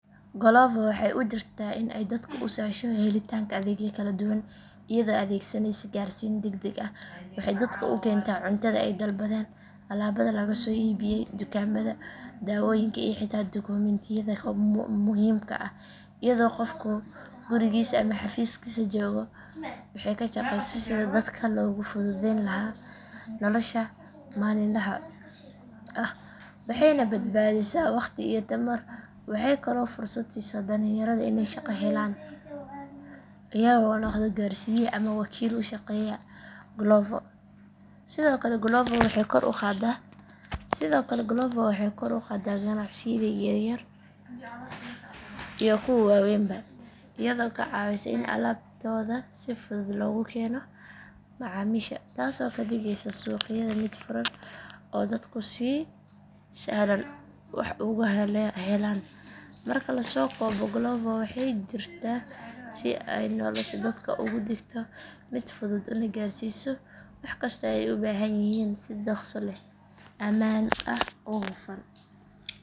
Glovo waxay u jirtaa in ay dadka u sahasho helitaanka adeegyo kala duwan iyadoo adeegsanaysa gaarsiin degdeg ah waxay dadka u keentaa cuntada ay dalbadeen alaabada laga soo iibiyay dukaamada dawooyinka iyo xitaa dukumintiyada muhiimka ah iyadoo qofku gurigiisa ama xafiiskiisa joogo waxay ka shaqeysaa sidii dadka loogu fududeyn lahaa nolosha maalinlaha ah waxayna badbaadisaa waqti iyo tamar waxay kaloo fursad siisaa dhalinyarada inay shaqo helaan iyagoo noqda gaarsiiye ama wakiil u shaqeeya glovo sidoo kale glovo waxay kor u qaadaa ganacsiyada yaryar iyo kuwa waaweynba iyadoo ka caawisa in alaabtooda si fudud loogu keeno macaamiisha taasoo ka dhigaysa suuqyada mid furan oo dadku si sahlan wax uga helaan marka la soo koobo glovo waxay jirtaa si ay nolosha dadka uga dhigto mid fudud una gaarsiiso wax kasta oo ay u baahan yihiin si dhakhso leh ammaan ah oo hufan.